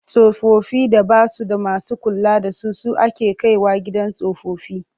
Tsofaffin da ba su da masu kula da su su ake kai wa gidan tsofaffi.